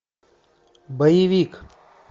боевик